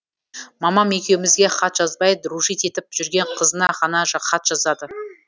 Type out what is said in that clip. мамам екеуімізге хат жазбай дружить етіп жүрген қызына ғана хат жазады